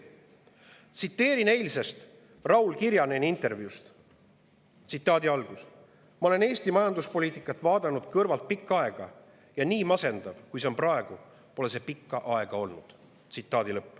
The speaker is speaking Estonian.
Tsiteerin eilset Raul Kirjaneni intervjuud: "Ma olen Eesti majanduspoliitikat vaadanud kõrvalt pikka aega ja nii masendav, kui see on praegu, pole see pikka aega olnud.